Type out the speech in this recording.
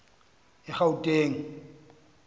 egauteng